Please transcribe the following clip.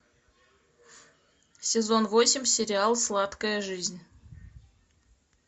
сезон восемь сериал сладкая жизнь